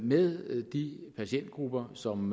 med de patientgrupper som